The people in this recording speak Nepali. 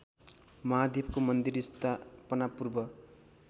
महादेवको मन्दिर स्थापनापूर्व